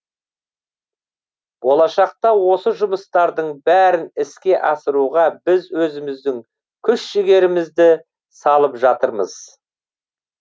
болашақта осы жұмыстардың бәрін іске асыруға біз өзіміздің күш жігерімізді салып жатырмыз